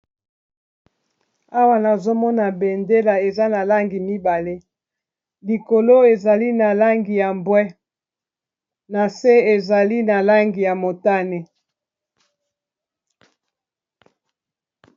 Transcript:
Awa nazomona bendela eza na langi mibale likolo ezali na langi ya mbwe, na se ezali na langi ya motane.